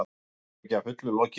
Rannsókn er ekki að fullu lokið